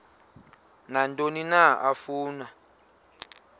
nantoni na afuna